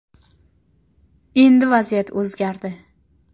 “Endi vaziyat o‘zgardi.